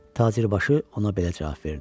Tacirbaşı ona belə cavab verdi: